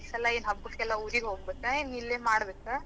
ಈ ಸಲಾ ಏನ್ ಹಬ್ಬಕೆಲ್ಲಾ ಊರಿಗೆ ಹೋಗಬೇಕಾ? ಏನ್ ಇಲ್ಲೇ ಮಾಡಬೇಕಾ?